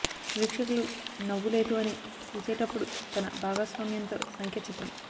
వీక్షకులు నవ్వు లేదు అని చూసేటప్పుడు తన భాగస్వామ్యంతో సంఖ్య చిత్రం